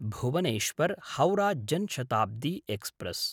Bhubaneswar-Howrah Jan Shatabdi express